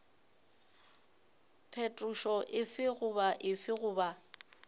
phetošo efe goba efe goba